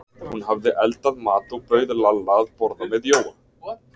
Hún hafði eldað mat og bauð Lalla að borða með Jóa.